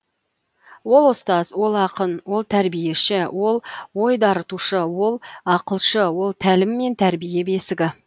ол ұстаз ол ақын ол тәрбиеші ол ой дарытушы ол ақылшы ол тәлім мен тәрбие бесігі